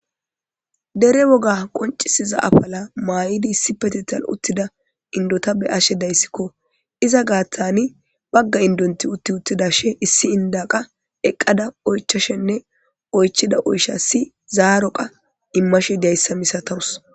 dere woga qoncisiza afala maa7idi issi petital uttida indota be ashe dayssikko iza gaathani bagga indonti utti uttida she issi inda qa eqqada oychashenne oychida oysha si zaaro qa immashe dayssa misatawus